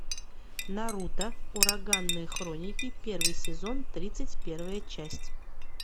наруто ураганные хроники первый сезон тридцать первая часть